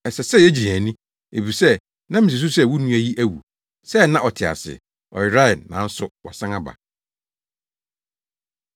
Ɛsɛ sɛ yegye yɛn ani, efisɛ na misusuw sɛ wo nua yi awu, sɛɛ na ɔte ase; ɔyerae, nanso wasan aba.’ ”